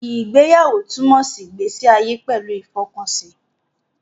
Ìgbéyàwó túmọ̀ sí ìgbésí ayé pẹ̀lú ìfọkànsí